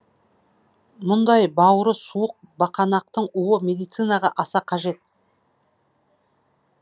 мұндай бауыры суық бақанақтың уы медицинаға аса қажет